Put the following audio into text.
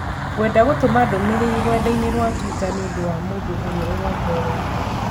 gwenda gũtũma ndũmīrīri rũrenda-inī rũa tũita niũndũ wa mũndũ ũrĩa ũrongoreirio.